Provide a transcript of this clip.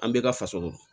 An bɛɛ ka faso